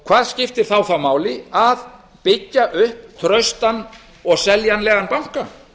hvað skiptir þá máli að byggja upp traustan og seljanlegan banka